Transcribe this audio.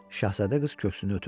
Şahzadə qız köksünü ötürdü.